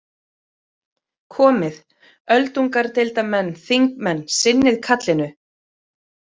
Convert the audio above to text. Komið, öldungadeildarmenn, þingmenn, sinnið kallinu.